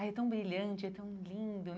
Ah, é tão brilhante, é tão lindo, né?